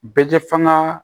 Bɛɛ kɛ fanga